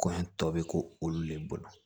Kɔɲɔ tɔ bɛ k'u olu le bolo